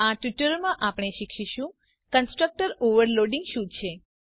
આ ટ્યુટોરીયલમાં આપણે શીખીશું કન્સ્ટ્રક્ટર ઓવરલોડિંગ શું છે